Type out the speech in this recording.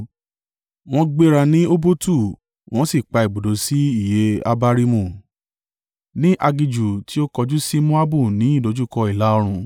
Wọ́n gbéra ní Obotu wọ́n sì pa ibùdó sí Iye-Abarimu, ní aginjù tí ó kọjú sí Moabu ní ìdojúkọ ìlà-oòrùn.